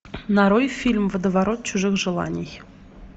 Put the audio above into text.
нарой фильм водоворот чужих желаний